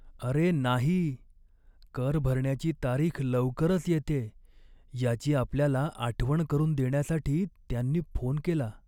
अरे नाही! कर भरण्याची तारीख लवकरच येतेय याची आपल्याला आठवण करून देण्यासाठी त्यांनी फोन केला.